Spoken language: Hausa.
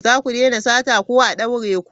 Za ku daina sata ko a daure ku!